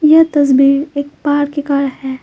यह तस्वीर एक पहाड़ के है।